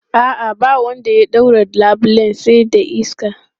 A'a, ba wanda ya ɗaure labulen sai dai iska.